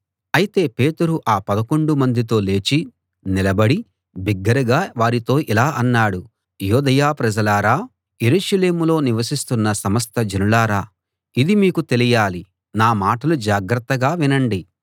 అయితే పేతురు ఆ పదకొండు మందితో లేచి నిలబడి బిగ్గరగా వారితో ఇలా అన్నాడు యూదయ ప్రజలారా యెరూషలేములో నివసిస్తున్న సమస్త జనులారా ఇది మీకు తెలియాలి నా మాటలు జాగ్రత్తగా వినండి